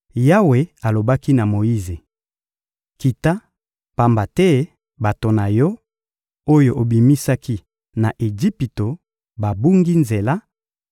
Yawe alobaki na Moyize: — Kita, pamba te bato na yo, oyo obimisaki na Ejipito babungi nzela,